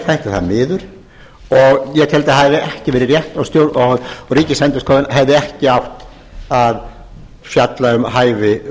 þætti það miður og ég teldi að það hefði ekki verið rétt og ríkisendurskoðun hefði ekki átt að fjalla um hæfi